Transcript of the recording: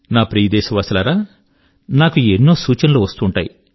నా ప్రియదేశవాసులారా నాకు ఎన్నో సూచనలు వస్తూ ఉంటాయి